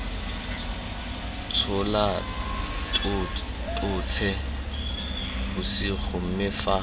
tshola totšhe bosigo mme fa